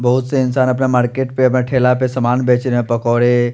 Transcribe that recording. बहोत से इंसान अपना मार्केट पे अपना ठेला पे सामान बेच रहे पकौड़े--